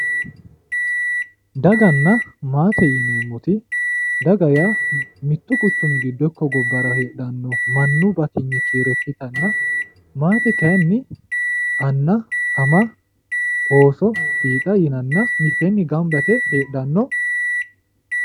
daganna maate yineemmoti daga yaa mittu quchummi giddo ikko gobbara heedhanno mannu batinyi kiiro ikkitanna maate kayiinni anna ama ooso fiixa yinanni mitteenni gamba yite heedhanno.